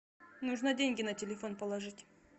нужно деньги на телефон положить